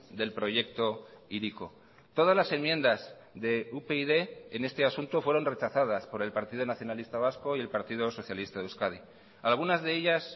del proyecto hiriko todas las enmiendas de upyd en este asunto fueron rechazadas por el partido nacionalista vasco y el partido socialista de euskadi algunas de ellas